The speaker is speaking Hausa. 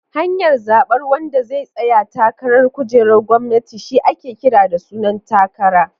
Hanyar zabar wanda zai tsaya takarar kujerar gwamnati shi ake kira da sunan takara.